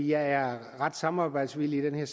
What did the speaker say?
jeg er ret samarbejdsvillig i